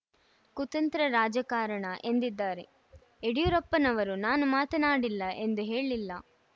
ಕುತಂತ್ರ ರಾಜಕಾರಣ ಎಂದಿದ್ದಾರೆ ಯಡಿಯೂರಪ್ಪನವರು ನಾನು ಮಾತನಾಡಿಲ್ಲ ಎಂದು ಹೇಳಿಲ್ಲ